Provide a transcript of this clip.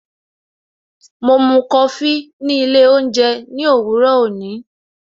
Mo mú Kofi ni ilé oúnjẹ ní òwúrò òní